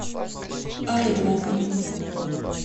орловым